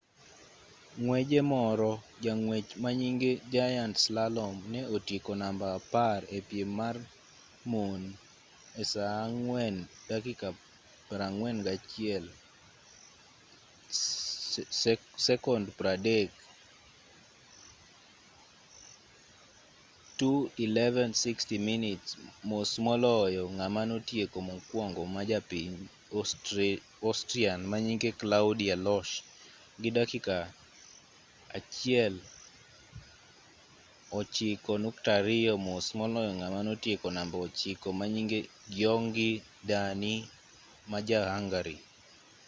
ng'weje moro jang'wech manyinge giant slalom ne otieko namba apar e piem mar mon e saa 4:41.30,2:11.60 minutes mos moloyo ng'ama notieko mokuongo majapiny austrian manyinge claudia loesch gi dakika 1:09.02 mos moloyo ng'ama notieko namba ochiko manyinge gyongyi dani ma ja hungary